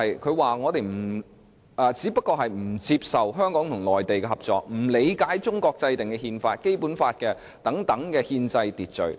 她指我們只是不接受香港和內地合作，不理解中國制定的憲法和《基本法》等憲制秩序。